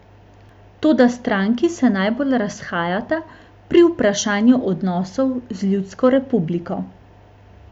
Toda stranki se najbolj razhajata pri vprašanju odnosov z ljudsko republiko.